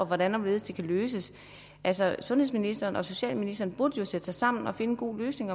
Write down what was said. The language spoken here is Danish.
hvordan og hvorledes det kan løses altså sundhedsministeren og socialministeren burde jo sætte sig sammen og finde en god løsning